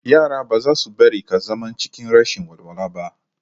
Yara ba zasu bari ka zama cikin rashin walwala ba